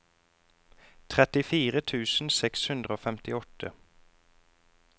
trettifire tusen seks hundre og femtiåtte